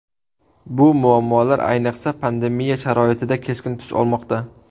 Bu muammolar, ayniqsa, pandemiya sharoitida keskin tus olmoqda.